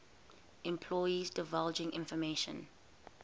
employees divulging information